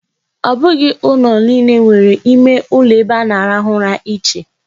Ọ bụghị ụlọ niile nwere ime uloebe a na-arahụ ụra iche.